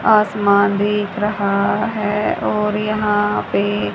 आसमान दिख रहा है और यहां पे--